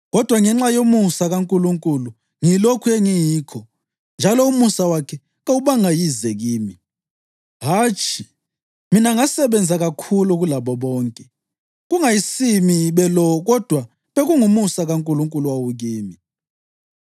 Kodwa ngenxa yomusa kaNkulunkulu ngiyilokhu engiyikho njalo umusa wakhe kawubanga yize kimi. Hatshi, mina ngasebenza kakhulu kulabo bonke, kungayisimi belo kodwa kungumusa kaNkulunkulu owawukimi.